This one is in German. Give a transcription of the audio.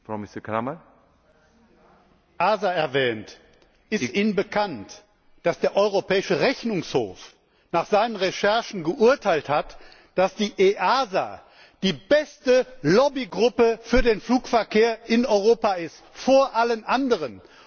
Sie haben die EASA erwähnt. Ist Ihnen bekannt, dass der Europäische Rechnungshof nach seinen Recherchen geurteilt hat, dass die EASA die beste Lobbygruppe für den Flugverkehr in Europa ist vor allen anderen?